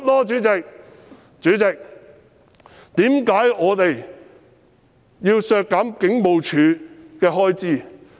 主席，為何我們要削減警務處的開支？